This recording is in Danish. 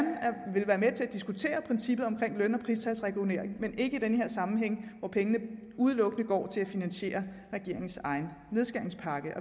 vil være med til at diskutere princippet omkring løn og pristalsregulering men ikke i den her sammenhæng hvor pengene udelukkende går til at finansiere regeringens egen nedskæringspakke